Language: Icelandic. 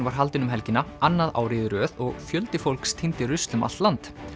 var haldinn um helgina annað árið í röð og fjöldi fólks tíndi rusl um allt land